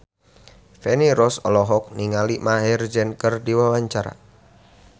Feni Rose olohok ningali Maher Zein keur diwawancara